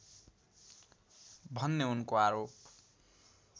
भन्ने उनको आरोप